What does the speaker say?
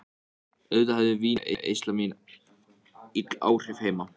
Auðvitað hafði vínneysla mín ill áhrif heima.